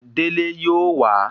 Délé yóò wa